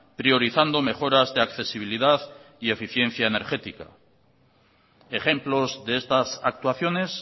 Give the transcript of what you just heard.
priorizando mejoras de accesibilidad y eficiencia energética ejemplos de estas actuaciones